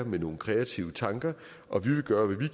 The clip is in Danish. med nogle kreative tanker og vi vil gøre hvad vi